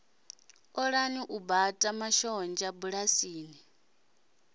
ṱoḓaho u bata mashonzha bulasini